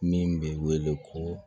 Min bɛ wele ko